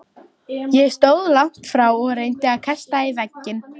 Ég stóð langt frá og reyndi að kasta í vegginn.